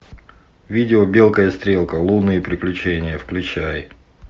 видео белка и стрелка лунные приключения включай